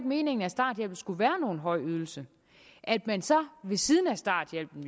meningen at starthjælpen skulle være nogen høj ydelse at man så ved siden af starthjælpen